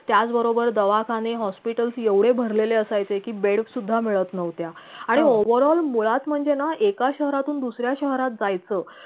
त्याचबरोबर दवाखाने hospitals एवढे भरलेले असायचे की beds सुद्धा मिळत नव्हत्या आणि overall मुळात म्हणजे ना एका शहरातून दुसऱ्या शहरात जायचं